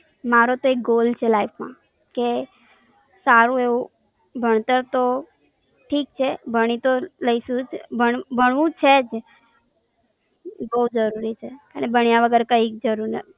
મારો તો એક Goal છે Life માં કે સારું એવું ભણતર તો ઠીક છે ભણી તો લઈશુ જ ભણવું છે જ બોવ જરૂરી છે અને ભણ્યા વગર કઈ જરૂર